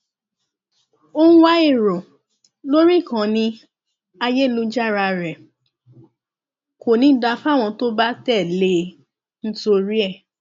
ó ń wá èrò lórí ìkànnì ayélujára rẹ kò ní í dáa fáwọn tó bá tẹlé e nítorí ẹ